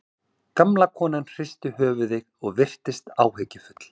Gamla konan hristi höfuðið og virtist áhyggjufull.